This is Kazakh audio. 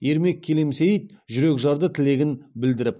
ермек келемсейіт жүрекжарды тілегін білдіріп